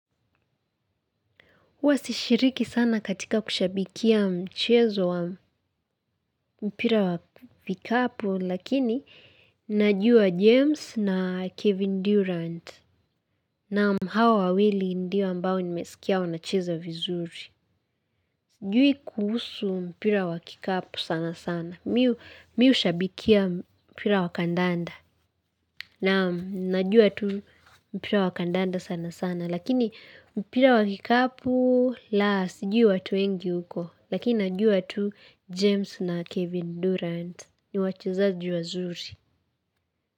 Huwa sishiriki sana katika kushabikia mchezo wa mpira wa vikapu lakini najua James na Kevin Durant naam hawa wawili ndio ambao nimesikia wanachezo vizuri. Sijui kuhusu mpira wa kikapu sana sana. Mi hushabikia mpira wa kandanda naam najua tu mpira wakandanda sana sana lakini mpira wa kikapu la sijui watu wengi huko. Lakini najua tu James na Kevin Durant. Ni wachezaji wazuri.